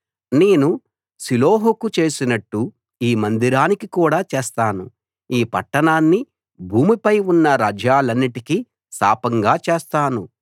నేను షిలోహుకు చేసినట్టు ఈ మందిరానికి కూడా చేస్తాను ఈ పట్టణాన్ని భూమిపై ఉన్న రాజ్యాలన్నిటికీ శాపంగా చేస్తాను